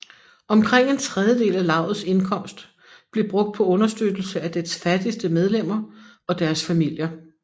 Omkring en tredjedel af lavets indkomst blev brugt på understøttelse af dets fattigste medlemmer og deres familier